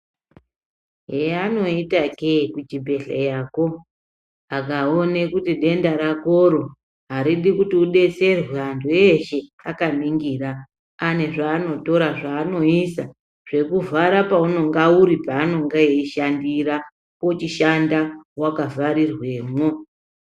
Eyavanoita kuzvibhedhlerako zvakaoma kuti denda rakoro aridi ridetserwe antu eshe Akaningura ane zvanotora zvavanoisa zvekuvhara pavanenge panenge pachishandira pochishanda wakavharirwemo.